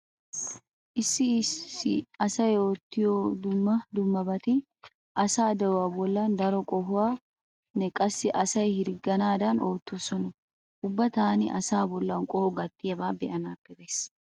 Issi issi asay oottiyo dumma dummabati asaa de'uwa bollan daro qohuwanne qassi asay hirgganaadan oottoosona. Uba taani asa bollan qoho gattiyaba be'anaappe gays.